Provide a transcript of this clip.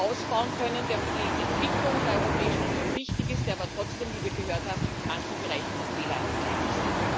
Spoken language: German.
ausbauen können, der für die Entwicklung der Europäischen Union wichtig ist, der aber trotzdem, wie wir gehört haben, in manchen Bereichen noch fehleranfällig ist.